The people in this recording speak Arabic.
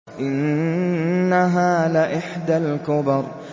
إِنَّهَا لَإِحْدَى الْكُبَرِ